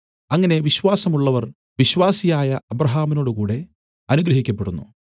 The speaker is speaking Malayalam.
അങ്ങനെ വിശ്വാസമുള്ളവർ വിശ്വാസിയായ അബ്രാഹാമിനോടുകൂടെ അനുഗ്രഹിക്കപ്പെടുന്നു